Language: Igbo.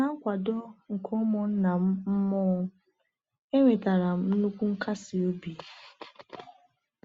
Na nkwado nke ụmụnna m mmụọ, enwetara m nnukwu nkasi obi.